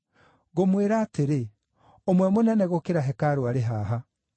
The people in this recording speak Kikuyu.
Ngũmwĩra atĩrĩ, ũmwe mũnene gũkĩra hekarũ arĩ haha.